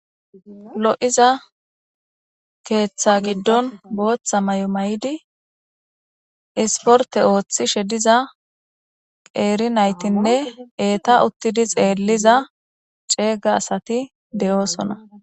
lo'iza keeththa giddon booththa mayo mayidi isporte ooththishe diza qeeri naytinne eeta uttidi xeelliza ceega asati de'oosona